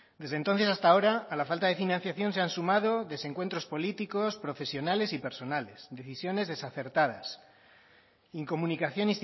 desde entonces hasta ahora a la falta de financiación se han sumado desencuentros políticos profesionales y personales decisiones desacertadas incomunicación